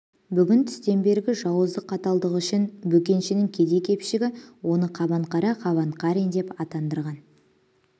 бүгін түстен бергі жауыздық қаталдығы үшін бөкеншінің кедей-кепшігі оны қабанқара қабанқарин деп атандырған